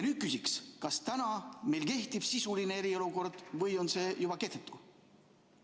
Ma küsin nii: kas meil täna kehtib sisuline eriolukord või on see juba kehtetu?